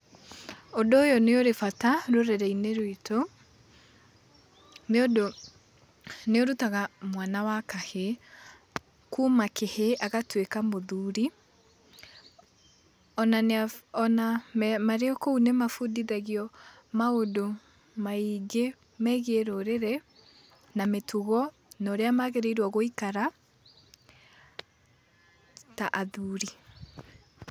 Ũndũ ũyũ nĩ ũrĩ bata rũrĩrĩ-inĩ rwitũ nĩũndũ nĩũrutaga mwana wa kahĩĩ kuma kĩhĩĩ, agatuĩka mũthuri, o na marĩ o kou nĩmabundithagio maũndũ maingĩ megiĩ rũrĩrĩ na mĩtugo na ũrĩa magĩrĩirwo gũikara, ta athuri.